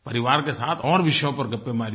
परिवार के साथ और विषयों पर गप्पें मारिए